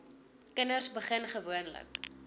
kinders begin gewoonlik